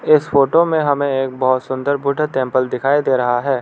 इस फोटो में हमें एक बहुत सुंदर बुद्धा टेंपल दिखाई दे रहा है।